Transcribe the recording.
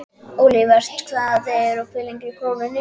Olivert, hvað er opið lengi í Krónunni?